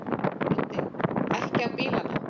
Broddi: Ekki á bílana?